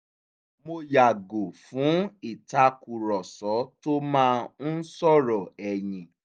mo yààgò fún ìtàkùrọ̀sọ tó máa ń sọ̀rọ̀ ẹ̀yìn